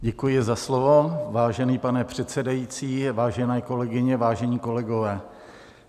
Děkuji za slovo, vážený pane předsedající, vážené kolegyně, vážení kolegové.